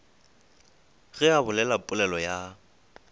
ge a bolela polelo ya